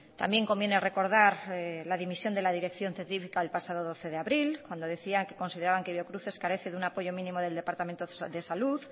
también conviene recordar la dimisión de la dirección científica el pasado doce de abril cuando decían que consideraban que biocruces carece de un apoyo mínimo del departamento de salud